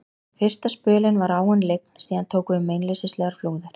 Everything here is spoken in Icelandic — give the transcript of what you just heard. Fyrsta spölinn var áin lygn, síðan tóku við meinleysislegar flúðir.